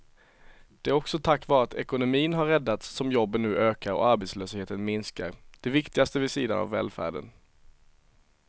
Det är också tack vare att ekonomin har räddats som jobben nu ökar och arbetslösheten minskar, det viktigaste vid sidan av välfärden.